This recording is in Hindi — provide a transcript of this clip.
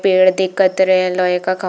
पेड़ दिखत रहे है लोहे का ख--